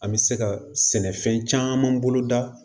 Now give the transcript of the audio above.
An bɛ se ka sɛnɛfɛn caman boloda